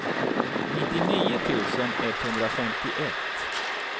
nittionio tusen etthundrafemtioett